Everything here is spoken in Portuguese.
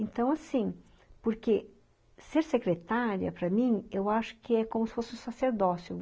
Então, assim, porque ser secretária, para mim, eu acho que é como se fosse um sacerdócio.